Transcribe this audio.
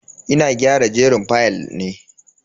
Ina gyara jerin fayal ne.